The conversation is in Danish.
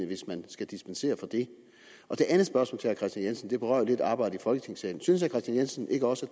hvis man skal dispensere fra det det andet spørgsmål til herre kristian jensen berører jo lidt arbejdet i folketingssalen synes herre kristian jensen ikke også